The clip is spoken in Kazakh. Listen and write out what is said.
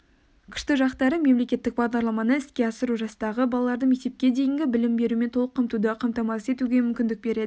күшті жақтары мемлекеттік бағдарламаны іске асыру жастағы балаларды мектепке дейінгі білім берумен толық қамтуды қамтамасыз етуге мүмкіндік береді